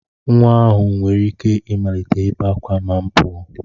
Nwa ahụ nwere ike ịmalite ibe ákwá ma m pụọ